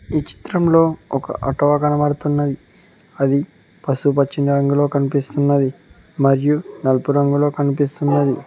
ఈ చిత్రంలో ఒక ఆటో కనబడుతున్నది అది పసుపుపచ్చిన రంగులో కనిపిస్తున్నది మరియు నలుపు రంగులో కనిపిస్తున్నది